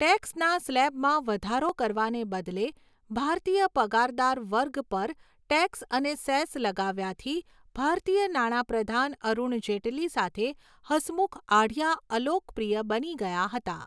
ટેક્સના સ્લેબમાં વધારો કરવાને બદલે ભારતીય પગારદાર વર્ગ પર ટેક્સ અને સેસ લગાવ્યાથી ભારતીય નાણાં પ્રધાન અરુણ જેટલી સાથે હસમુખ આઢિયા અલોકપ્રિય બની ગયા હતા.